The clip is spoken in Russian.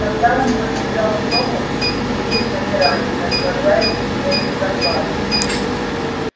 когда он подбежал к дому все сидели на веранде наслаждаясь вечерней прохладой